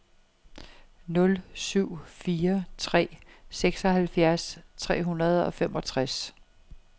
nul syv fire tre seksoghalvfjerds tre hundrede og femogtres